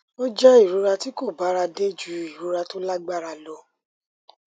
ó jẹ ìrora tí kò bára dé ju ìrora tó lágbára lọ